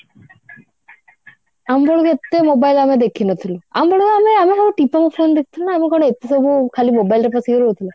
ଆମ ବେଳକୁ ଏତେ mobile ଆମେ ଦେଖିନଥିଲୁ ଆମ ବେଳକୁ ଆମେ ଆମେ ସବୁ ଟିପା mobile ଦେଖୁଥିଲୁ ନା ଆମେ କଣ ଏତେ ସବୁ ଖାଲି mobile ରେ ପସିକି ରହୁଥିଲୁ